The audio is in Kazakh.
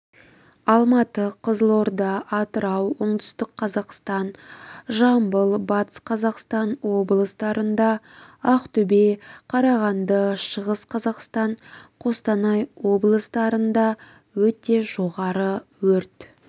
алматы қызылорда атырау оңтүстік-қазақстан жамбыл батыс-қазақстан облыстарында ақтөбе қарағанды шығыс қазақстан қостанай облыстарында өте жоғары өрт